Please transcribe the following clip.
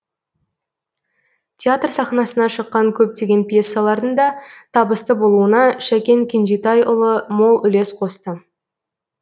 театр сахнасына шыққан көптеген пьесалардың да табысты болуына шәкен кенжетай ұлы мол үлес қосты